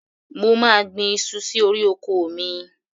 Mo máa gbin iṣu sí orí oko mi.